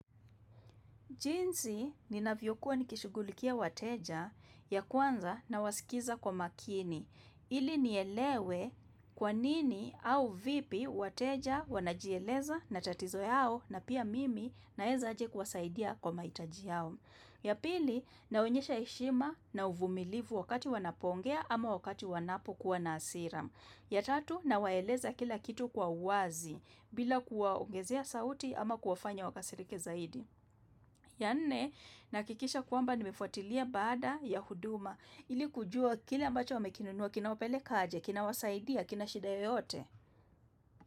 Jinsi ninavyo kuwa nikishugulikia wateja ya kwanza nawasikiza kwa makini. Ili nielewe kwa nini au vipi wateja wanajieleza na tatizo yao na pia mimi naeza aje kuwasaidia kwa mahitaji yao. Ya pili naonyesha heshima na uvumilivu wakati wanapo ongea ama wakati wanapokuwa na hasira. Ya tatu nawaeleza kila kitu kwa uwazi bila kuwaongezea sauti ama kuwafanya wakasirike zaidi. Ya nne, nahakikisha kwamba nimefuatilia baada ya huduma ili kujua kile ambacho wamekinunua kina wapelekaje, kina wasaidia, kina shida yoyote.